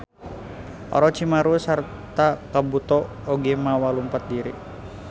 Orochimaru sarta Kabuto oge mawa lumpat diri.